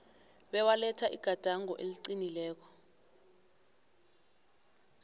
bewaletha igadango eliqinileko